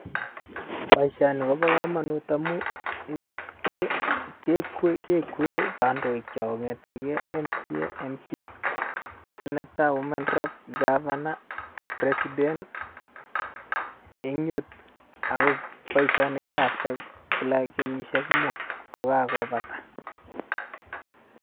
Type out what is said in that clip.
Boisioni kobo komonut amun ni ke kekue kekuen kondoikiok kong'eten kei MCA, Mp, Senator, Woman rep , Governor , President en yu ago boisioni keyoe after kila kenyisiek mut kokakopata.